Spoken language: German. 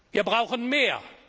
Wir brauchen mehr!